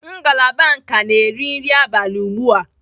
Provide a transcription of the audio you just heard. Ngalaba nka na-eri nri abalị ugbu a.